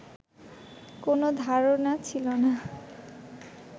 কোন ধারণা ছিল না